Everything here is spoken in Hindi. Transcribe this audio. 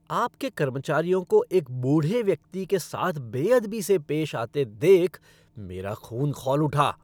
आपके कर्मचारियों को एक बूढ़े व्यक्ति के साथ बेअदबी से पेश आते देख मेरा खून खौल उठा।